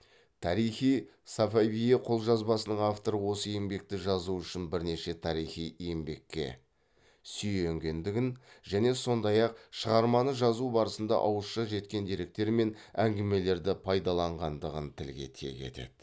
тарих и сафавие қолжазбасының авторы осы еңбекті жазу үшін бірнеше тарихи еңбекке сүйенгендігін және сондай ақ шығарманы жазу барысында ауызша жеткен деректер мен әңгімелерді пайдаланғандығын тілге тиек етеді